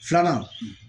Filanan